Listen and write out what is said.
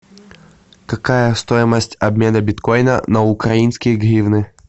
какая стоимость обмена биткоина на украинские гривны